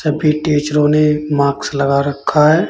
सभी टीचरों ने माक्स लगा रखा है।